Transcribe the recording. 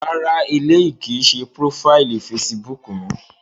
Rárá, éleyi kii ṣe profaili Fèsìbúukù mi.